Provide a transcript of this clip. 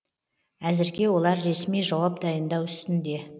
әзірге олар ресми жауап дайындау үстінде